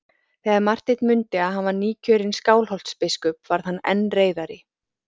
Þegar Marteinn mundi að hann var nýkjörinn Skálholtsbiskup varð hann enn reiðari.